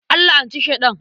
An la'anci Sheɗan.